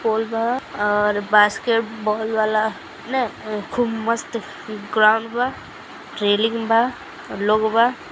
Ball बा और basketball वाला न खूब मस्त ग्राउंड बा बा लोग बा।